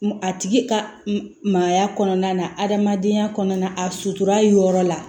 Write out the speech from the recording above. A tigi ka maaya kɔnɔna na adamadenya kɔnɔna a sutura yɔrɔ la